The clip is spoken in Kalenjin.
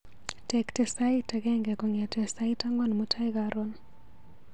Tekte sait agenge kong'ete sait ang'wan mutai karon.